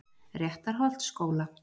Réttarholtsskóla